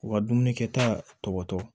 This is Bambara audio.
U ka dumuni kɛta tɔ tɔ